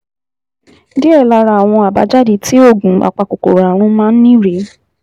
Díẹ̀ lára àwọn àbájáde tí oògùn apakòkòrò ààrùn máa ń ní rèé